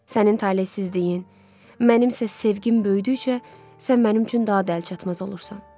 Sənin taleyinsizliyin, mənim isə sevgim böyüdükcə sən mənim üçün daha da əlçatmaz olursan.